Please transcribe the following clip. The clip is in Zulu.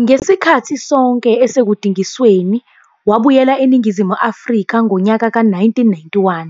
Ngesikhathi sonke esekudingisweni, wabuyela eNingizimu Afrika ngonyaka ka-1991,